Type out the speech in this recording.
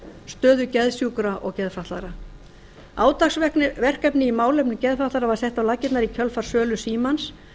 stöðu geðsjúkra og geðfatlaðra átaksverkefni í málefnum geðfatlaðra var sett á laggirnar í kjölfar sölu símans